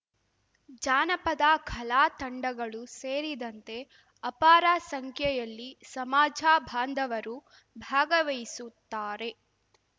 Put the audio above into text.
ಜಾನಪದ ಕಲಾ ತಂಡಗಳೂ ಸೇರಿದಂತೆ ಅಪಾರ ಸಂಖ್ಯೆಯಲ್ಲಿ ಸಮಾಜ ಬಾಂಧವರೂ ಭಾಗವಹಿಸುತ್ತಾರೆ